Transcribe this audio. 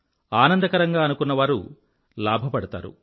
ఆనందకరంగా అనుకున్నవారు లాభపడతారు